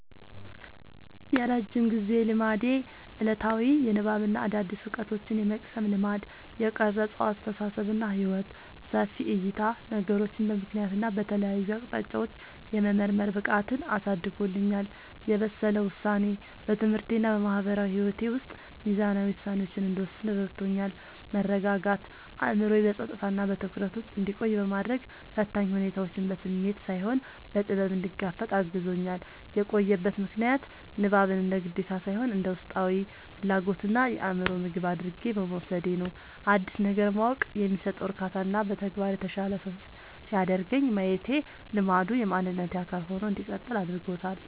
የረጅም ጊዜ ልማዴ፦ ዕለታዊ የንባብና አዳዲስ ዕውቀቶችን የመቅሰም ልማድ። የቀረጸው አስተሳሰብና ሕይወት፦ ሰፊ ዕይታ፦ ነገሮችን በምክንያትና በተለያዩ አቅጣጫዎች የመመርመር ብቃትን አሳድጎልኛል። የበሰለ ውሳኔ፦ በትምህርቴና በማህበራዊ ሕይወቴ ውስጥ ሚዛናዊ ውሳኔዎችን እንድወስን ረድቶኛል። መረጋጋት፦ አእምሮዬ በጸጥታና በትኩረት ውስጥ እንዲቆይ በማድረግ፣ ፈታኝ ሁኔታዎችን በስሜት ሳይሆን በጥበብ እንድጋፈጥ አግዞኛል። የቆየበት ምክንያት፦ ንባብን እንደ ግዴታ ሳይሆን እንደ ውስጣዊ ፍላጎትና የአእምሮ ምግብ አድርጌ በመውሰዴ ነው። አዲስ ነገር ማወቅ የሚሰጠው እርካታና በተግባር የተሻለ ሰው ሲያደርገኝ ማየቴ ልማዱ የማንነቴ አካል ሆኖ እንዲቀጥል አድርጎታል።